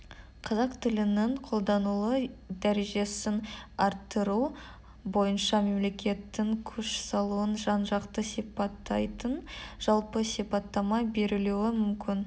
қазақ тілінің қолданылу дәрежесін арттыру бойынша мемлекеттің күш салуын жан-жақты сипаттайтын жалпы сипаттама берілуі мүмкін